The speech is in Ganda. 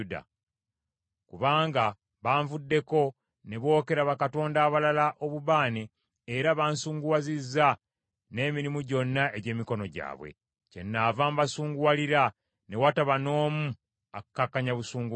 Kubanga banvuddeko ne bookera bakatonda abalala obubaane, era bansunguwazizza n’emirimu gyonna egy’emikono gyabwe. Kyennaava mbasunguwalira ne wataba n’omu akkakkanya busungu bwange.” ’